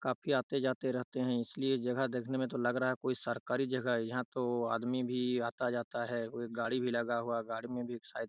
काफी आते जाते रहते हैं इसलिए जगह देखने में लग रहा हैं कोई सरकारी जगह हैं यहाँ तो वो आदमी भी आता जाता हैं वो गाड़ी भी लगा हुआ गाड़ी में भी सायद--